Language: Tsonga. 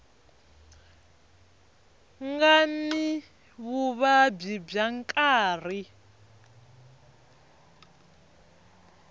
nga ni vuvabyi bya nkarhi